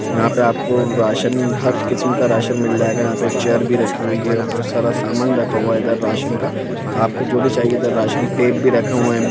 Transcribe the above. यहां पे आपको राशन हर किस्म का राशन मिल जायेगा चेयर भी रखी हुई है बहुत सारा सामान रखा हुआ है इधर राशन का आपको जो भी चाहिए इधर राशन टैप भी रखा हुआ है।